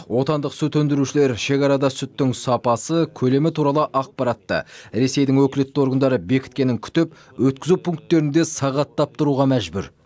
отандық сүт өндірушілер шекарада сүттің сапасы көлемі туралы ақпаратты ресейдің өкілетті органдары бекіткенін күтіп өткізу пунктерінде сағаттап тұруға мәжбүр